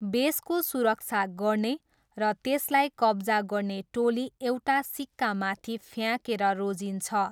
बेसको सुरक्षा गर्ने र त्यसलाई कब्जा गर्ने टोली एउटा सिक्का माथि फ्याँकेर रोजिन्छ।